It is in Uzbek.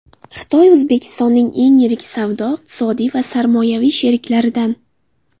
Xitoy O‘zbekistonning eng yirik savdo-iqtisodiy va sarmoyaviy sheriklaridan.